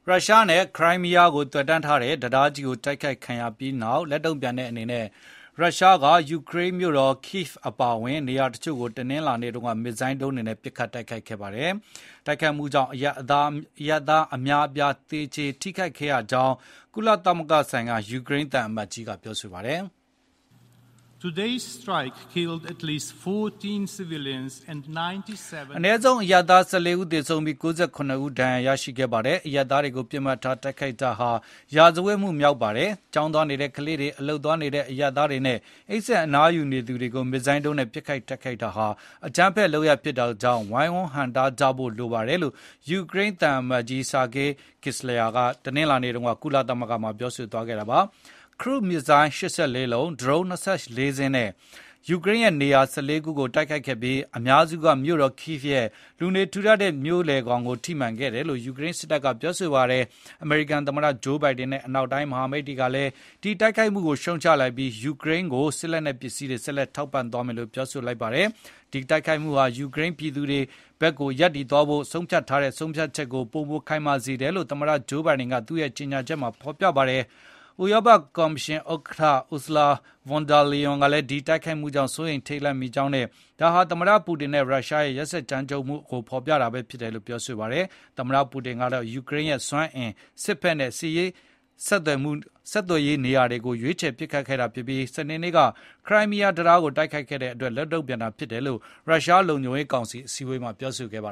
ရုရှားနဲ့ ခရိုင်းမီးယားဒေသ ဆက်သွယ်ထားတဲ့ တံတားကြီ းတိုက်ခိုက်ခံခဲ့ရပြီးနောက် လက်တုံ့ပြန်တဲ့ အနေနဲ့ ရုရှားက ယူကရိန်းမြို့တော် Kyiv အပါအဝင်နေရာချို့ကို တနင်္လာနေ့က မစ်ဇိုင်းဒုံးတွေနဲ့ ပစ်ခတ်တိုက်ခိုက်ခဲ့ပါတယ်။ တိုက်ခိုက်မှုတွေကြောင့် အရပ်သား အများအပြား သေကျေ ထိခိုက်ခဲ့ရကြောင်းလည်း ကုလသမဂ္ဂဆိုင်ရာ ယူကရိန်း သံအမတ်ကြီး က ပြောပါတယ်။ “ အနည်းဆုံး အရပ်သား ၁၄ ဦးသေဆုံးပြီး၊ ၉၇ ဦးဒါဏ်ရာရခဲ့ပါတယ်။ အရပ်သားတွေကို ပစ်မှတ်ထားတိုက်ခိုက် တာဟာ စစ်ရာဇဝတ်မှုမြောက်ပါတယ်။ ကျောင်းသွားနေတဲ့ကလေးတွေ၊ အလုပ်သွားနေတဲ့ အရပ်သားတွေနဲ့ အိပ်စက် အနားယူနေသူတွေကို မစ်ဇိုင်းဒုန်းနဲ့ ပစ်ခတ်တိုက်ခိုက်တာဟာ အကြမ်းဖက် လုပ်ရပ်ဖြစ်တာကြောင့် ဝိုင်ဝန်းဟန့်တားကြဖို့ လိုပါတယ်။” လို့ ယူကရိန်းသံအမတ်ကြီး Sergyi Kyslytsya က တနင်္လာနေ့ ကုလသမဂ္ဂမှာ ပြောဆိုသွားခဲ့တာပါ။ Cruise မစ်ဇိုင်းဒုံး ၈၄ လုံး၊ ဒရုန်း ၂၄ စင်းနဲ့ ယူကရိန်းရဲ့ နေရာ ၁၄ ခုကို တိုက်ခိုက်ခဲ့ပြီး အများစုကမြို့တော် Kyivရဲ့ လူနေထူ ထပ်တဲ့ မြို့လည်ကို ထိမှန်ခဲ့တယ်လို့ ယူကရိန်းစစ်တပ်က ပြောပါတယ်။ အမေရိကန်သမတ ဂျိုးဘိုင်ဒင်နဲ့ အနောက်တိုင်း မဟာမိတ်တွေကလည်း ဒီတိုက်ခိုက်မှုကိုရှုံ့ချလိုက်ပြီး၊ ယူကရိန်းကို စစ်လက်နက် ပစ္စည်းတွေ ဆက်လက်ထောက်ပံ သွားမယ်လို့ ပြောဆိုလိုက်ပါတယ်။ ဒီတိုက်ခိုက်မှုဟာ ယူကရိန်းပြည်သူတွေ ဘက်ရပ်တည်သွားဖို့ ဆုံးဖြတ်ချက်ကို ပိုမိုခိုင်မာစေတယ်လို့ သမ္မတ ဂျိုးဘိုင်ဒင် က သူ့ရဲ့ကြေညာချက်မှာ ဖေါ်ပြထားပါတယ်။ ဥရောပ ကော်မရှင် ဥက္ကဌ Ursula von der Leyen ကလည်း ဒီတိုက်ခိုက်မှုကြောင့် စိုးရိမ်ထိတ်လန့်မိကြောင်းနဲ့ ဒါဟာ သမ္မတ ပူတင်နဲ့ ရုရှားရဲ့ ရက်စက်ကြမ်းကြုတ်မှုနဲ့ အကြမ်းဖက်မှုကို ဖေါ်ပြတာ ဖြစ်တယ်လို့ ပြောဆိုပါတယ်။ သမ္မတ ပူတင်ကတော့ ယူကရိန်းရဲ့ စွမ်းအင်၊ စစ်ဘက်နဲ့ ဆက်သွယ်ရေး ပစ်မှတ်တွေကို တိုက်ခိုက်ခဲ့ တာဖြစ်ပြီး၊ စနေနေ့က ခရိုင်းမီးယား တံတားကို တိုက်ခိုက်ခဲ့တဲ့အတွက် လက်တုံ့ပြန်တာလို့ ရုရှာ းလုံခြုံရေးကောင်စီအစည်းအဝေးမှာ ပြောဆိုခဲ့ပါ